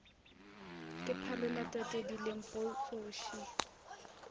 ke phalola tatedi lempo tsoši